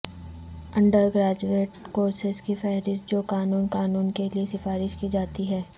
under graduate courses کی فہرست جو قانون قانون کے لئے سفارش کی جاتی ہے